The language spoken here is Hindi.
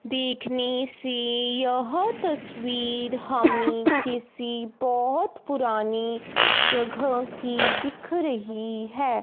देखने से यह तस्वीर हमें किसी बहोत पुरानी जगह की दिख रही है।